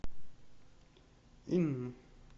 инн